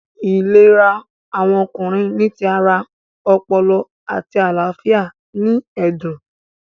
Ìlera awọn Ọkùnrin ni tí ará, ọpọlọ, àti àlàáfíà ní ẹdun